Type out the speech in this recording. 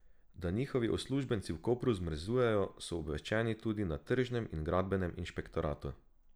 Da njihovi uslužbenci v Kopru zmrzujejo, so obveščeni tudi na tržnem in gradbenem inšpektoratu.